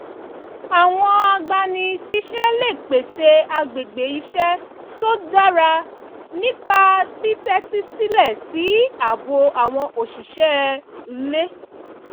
àwọn agbani-síṣẹ́ lè pèsè agbègbè iṣẹ́ tó dára nípa títẹ́tí sílẹ̀ sí ààbọ̀ àwọn òṣìṣẹ́ iulé